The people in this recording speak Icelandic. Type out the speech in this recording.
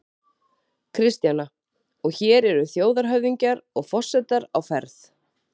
Kristjana: Og hér eru þjóðhöfðingjar og forsetar á ferð?